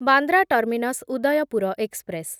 Bandra terminus Udaipur express